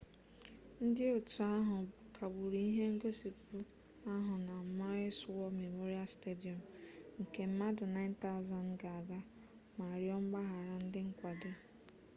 ndị otu ahụ kagburu ihe ngosipụ ahụ na maui's war memorial stadium nke mmadụ 9,000 ga-aga ma rịọ mgbaghara ndị nkwado